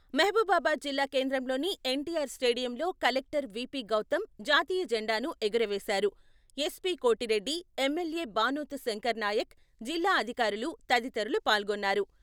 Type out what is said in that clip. మహబూబాబాద్ జిల్లా కేంద్రంలోని ఎన్టీఆర్ స్టేడియంలో కలెక్టర్ విపి గౌతమ్ జాతీయ జెండాను ఎగురవేసారు ఎస్పీ కోటిరెడ్డి, ఎమ్మెల్యే బానోతు శంకర్ నాయక్, జిల్లా అధికారులు తదితరులు పాల్గొన్నారు.